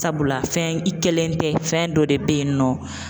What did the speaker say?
Sabula fɛn, i kɛlen tɛ, fɛn dɔ de bɛ yen nɔ.